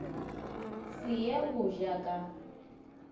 se ye go ja ka